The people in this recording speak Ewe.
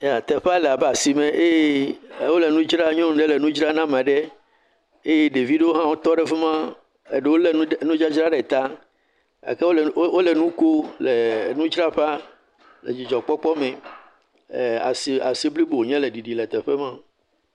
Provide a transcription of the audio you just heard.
Teƒea le abe asime eye e wole nu dzra nyɔnu ɖe le nu dzra na maɖe eye ɖevi ɖoo hã wotɔ ɖe fi ma, eɖoo le lé nu ɖ.. nudzadzra ɖe ta gake wole wole nu ko le nudzraƒa le dzidzɔkpɔkpɔ me, ee, as.. asi blibo wonye le teƒe ma.